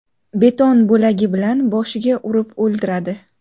Beton bo‘lagi bilan boshiga urib o‘ldiradi.